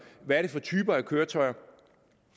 hvad er det for typer af køretøjer